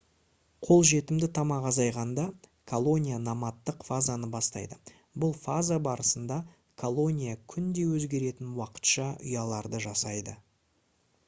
қолжетімді тамақ азайғанда колония номадтық фазаны бастайды бұл фаза барысында колония күнде өзгеретін уақытша ұяларды жасайды